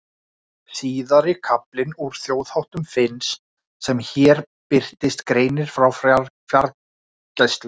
Síðari kaflinn úr Þjóðháttum Finns sem hér birtist greinir frá fjárgæslu.